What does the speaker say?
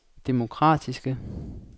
demokratiske